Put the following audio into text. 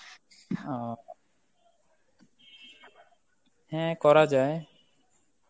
ও, হ্যাঁ করা যায়